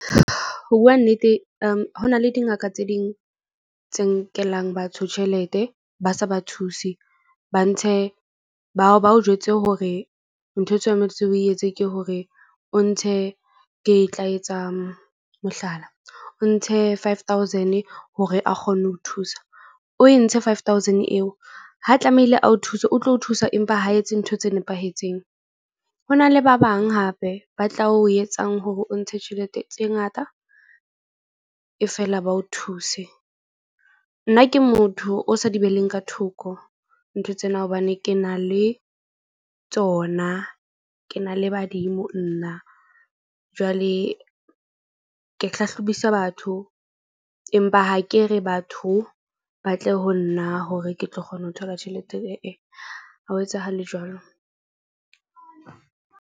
Ho bua nnete ho na le dingaka tse ding tse nkelang batho tjhelete. Ba se ba thuse, ba ntshe bao jwetse hore ntho eo tshwanetse o etse ke hore o ntshe ke tla etsa mohlala o ntshe five thousand hore a kgone ho thusa o e ntshe five thousand eo. Ha tlamehile a o thuse, o tlo o thusa. Empa ho etse ntho tse nepahetseng. Ho na le ba bang hape ba tla o etsang hore o ntshe tjhelete tse ngata e fela ba o thuse. Nna ke motho o sa di be leng ka thoko ntho tsena, hobane ke na le tsona. Ke na le badimo nna jwale ke hlahlobisa batho, empa ha ke re batho ba tle ho nna, hore ke tlo kgona ho thola tjhelete ha ho etsahale jwalo.